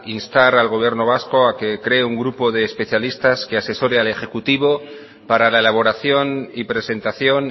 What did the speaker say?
instar al gobierno vasco a que cree un grupo de especialistas que asesore al ejecutivo para la elaboración y presentación